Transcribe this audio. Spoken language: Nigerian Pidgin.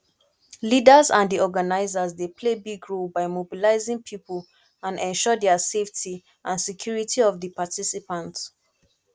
leaders and di organizers dey play big role by mobilizing people and ensure their safety and security of di participants